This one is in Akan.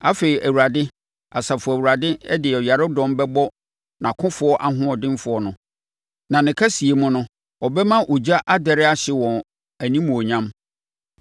Afei Awurade, Asafo Awurade de ɔyaredɔm bɛbɔ nʼakofoɔ ahoɔdenfoɔ no; na ne kɛseyɛ mu no, ɔbɛma ogya adɛre ahye wɔn animuonyam.